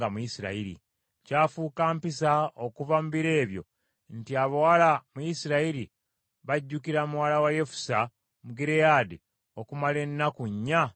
okuva mu biro ebyo, nti abawala mu Isirayiri bajjukira muwala wa Yefusa Omugireyaadi okumala ennaku nnya buli mwaka.